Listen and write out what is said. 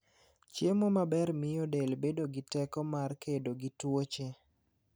Chiemo maber miyo del bedo gi teko mar kedo gi tuoche.